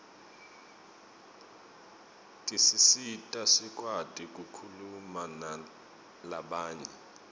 tisisita sikwati kukhuluma nalabanye